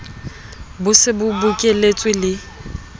bo se bo bokeletswe le